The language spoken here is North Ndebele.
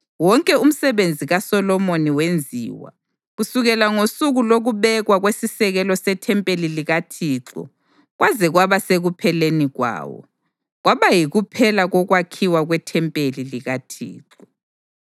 Wonke umsebenzi kaSolomoni wenziwa, kusukela ngosuku lokubekwa kwesisekelo sethempeli likaThixo kwaze kwaba sekupheleni kwawo. Kwaba yikuphela kokwakhiwa kwethempeli likaThixo.